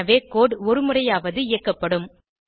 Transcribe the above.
எனவே கோடு ஒருமுறையாவது இயக்கப்படும்